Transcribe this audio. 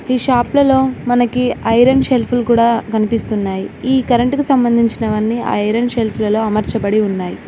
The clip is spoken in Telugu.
ఈ షాప్ లలో మనకి ఐరన్ షెల్ఫులు కూడా కనిపిస్తున్నాయి ఈ కరెంటు కు సంబంధించినవన్నీ ఐరన్ షెల్ఫ్ లలో అమర్చబడి ఉన్నాయ్.